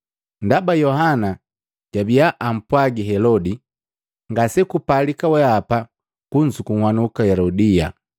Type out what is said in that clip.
Ndaba Yohana jabiya ampwagi Helodi, “Ngasekupalika wehapa kunzuku Helodia.”